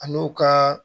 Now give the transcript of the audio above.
A n'o ka